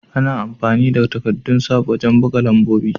Ana amfani da takaddun sav wajen buga lambobi.